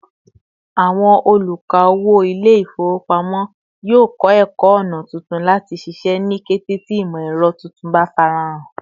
Àwọn oluka-owo Ilé-ifowopamo yio kọ ẹkọ ọna tuntun láti ṣiṣẹ́ ni kété tí imọ-ẹrọ tuntun bá farahan